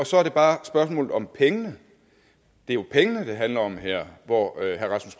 så er det bare spørgsmålet om pengene det er jo pengene det handler om her hvor